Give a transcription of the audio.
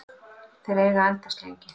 Þeir eiga að endast lengi.